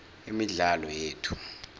imidlalo yethu